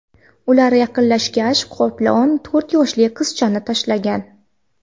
Ular yaqinlashgach, qoplon to‘rt yoshli qizchaga tashlangan.